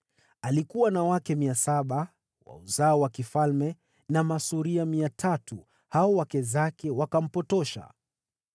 Alikuwa na wake 700 mabinti wa uzao wa kifalme, na masuria 300, nao wake zake wakampotosha.